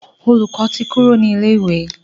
Olùkó tí Kúrò ní ilè ìwé.